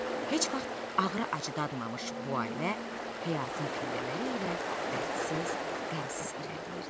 Heç vaxt ağrı acı dadmamış bu ailə həyatın pillələri ilə dərdsiz, qəmsiz irəliləyirdi.